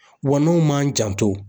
Wa n'anw m'an janto